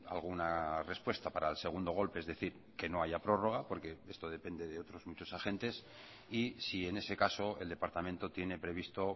alguna respuesta para el segundo golpe es decir que no haya prórroga porque esto depende de otros muchos agentes y si en ese caso el departamento tiene previsto